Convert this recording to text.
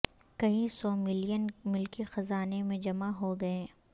کئی سو ملین ملکی خزانے میں جمع ہو گئے